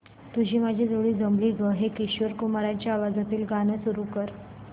तुझी माझी जोडी जमली गं हे किशोर कुमारांच्या आवाजातील गाणं सुरू कर